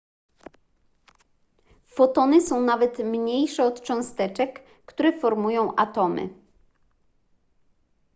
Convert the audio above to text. fotony są nawet mniejsze od cząsteczek które formują atomy